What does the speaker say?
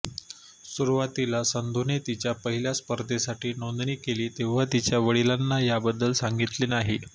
सुरुवातीला संधूने तिच्या पहिल्या स्पर्धेसाठी नोंदणी केली तेव्हा तिच्या वडिलांना याबद्दल सांगितले नाही